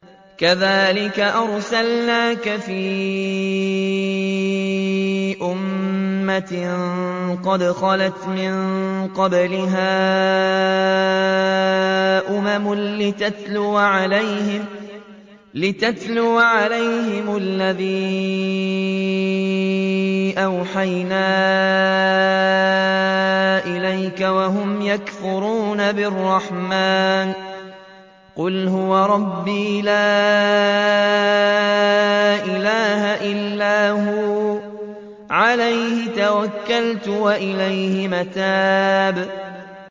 كَذَٰلِكَ أَرْسَلْنَاكَ فِي أُمَّةٍ قَدْ خَلَتْ مِن قَبْلِهَا أُمَمٌ لِّتَتْلُوَ عَلَيْهِمُ الَّذِي أَوْحَيْنَا إِلَيْكَ وَهُمْ يَكْفُرُونَ بِالرَّحْمَٰنِ ۚ قُلْ هُوَ رَبِّي لَا إِلَٰهَ إِلَّا هُوَ عَلَيْهِ تَوَكَّلْتُ وَإِلَيْهِ مَتَابِ